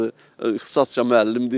İxtisasca müəllimdir.